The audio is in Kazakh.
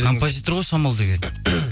композитор ғой самал деген